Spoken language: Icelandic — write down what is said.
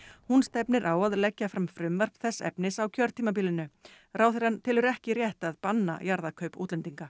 hún stefnir á að leggja fram frumvarp þess efnis á kjörtímabilinu ráðherrann telur ekki rétt að banna jarðakaup útlendinga